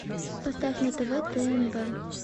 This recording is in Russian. поставь на тв тнв